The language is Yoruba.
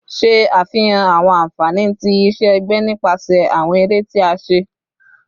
Ṣe afihan awọn anfani ti iṣẹ-ẹgbẹ nipasẹ awọn ere ti a ṣe